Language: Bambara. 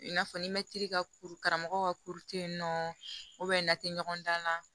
I n'a fɔ ni mɛtiri ka kuru karamɔgɔ ka kuru tɛ yen nɔ n'a tɛ ɲɔgɔn dan na